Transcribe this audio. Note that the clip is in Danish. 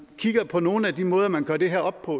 kigger på nogle af de måder man gør det her op på